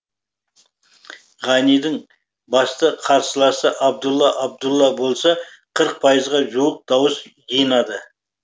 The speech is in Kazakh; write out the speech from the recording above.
ғанидің басты қарсыласы абдулла абдулла болса қырық пайызға жуық дауыс жинады